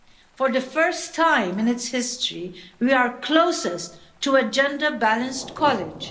For the first time in its history we are closest to a gender balanced college.